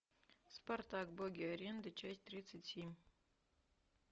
спартак боги арены часть тридцать семь